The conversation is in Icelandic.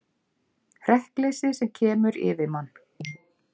Hrekkleysið sem kemur yfir mann.